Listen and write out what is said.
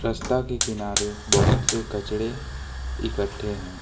रास्ता के किनारे बहोत से कचड़े इकट्ठे हैं।